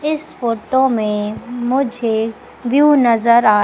इस फोटो में मुझे व्यूव नजर आ--